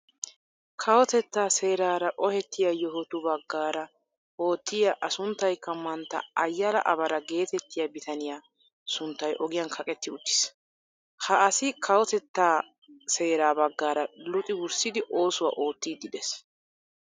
Kawottettaa seraara ohettiyaa yohotu baggaara ottiyaa a sunttaykka mantta Ayaala Abara gettettiyaa bitaniyaa sunttay ogiyaan kaaqetti uttiis. Ha asi kawotettaa seeraa baggaara luxi wurssidi oosuwaa oottiidi de'ees.